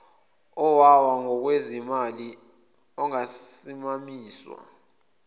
owawa ngokwezimali ongakasimamiswa